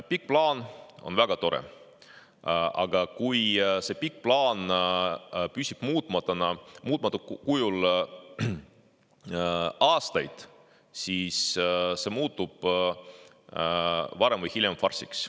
Pikk plaan on väga tore, aga kui see pikk plaan püsib muutmata kujul aastaid, siis see muutub varem või hiljem farsiks.